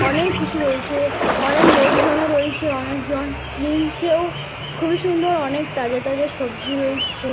অনেক কিছু রয়েছে। অনেক লোকজনও রয়েছে। অনেকজন কিনছেও । খুবই সুন্দর অনেক তাজা তাজা সবজি রয়েছে।